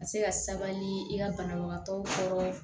Ka se ka sabali i ka banabagatɔw kɔrɔ